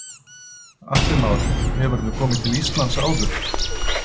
Atli Már: Hefurðu komið til Íslands áður?